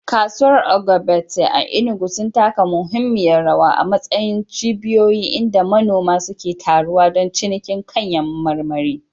Kasuwar Ogbete a Enugu sun taka muhimmiyar rawa a matsayin cibiyoyi inda manoma suke taruwa don cinikin kayan marmari.